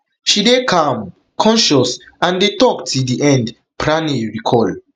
she dey calm conscious and dey tok till di end pranay recall